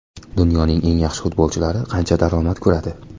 Dunyoning eng yaxshi futbolchilari qancha daromad ko‘radi?.